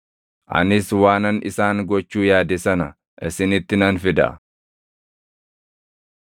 Anis waanan isaan gochuu yaade sana isinitti nan fida.’ ”